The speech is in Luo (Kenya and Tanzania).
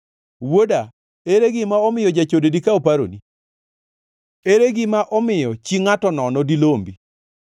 Wuoda, ere gima omiyo jachode dikaw paroni? Ere gima omiyo chie ngʼato nono dilombi?